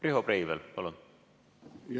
Riho Breivel, palun!